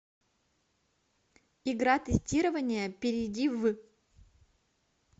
игра тестирование перейди в